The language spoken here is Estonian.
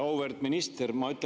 Auväärt minister!